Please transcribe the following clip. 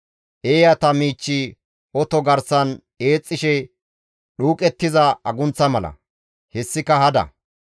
Eeyata miichchi oto garsan eexxishe dhuuqettiza agunththa mala; hessika hada.